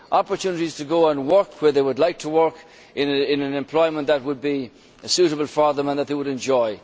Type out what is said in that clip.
Opportunities to go and work where they would like to work, in an employment that would be suitable for them and that they would enjoy.